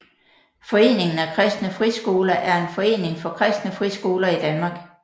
Foreningen af Kristne Friskoler er en forening for kristne friskoler i Danmark